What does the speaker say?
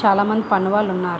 చాలా మంది పని వాళ్ళు ఉన్నారు.